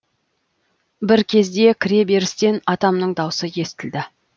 бір кезде кіре берістен атамның дауысы естілді